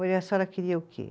a senhora queria o quê?